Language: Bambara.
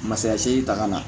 Masaya segi ta ka na